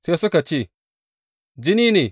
Sai suka ce, Jini ne!